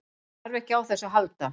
Hann þarf ekki á þessu að halda.